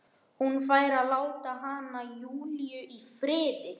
Hún fari og láti hana, Júlíu, í friði.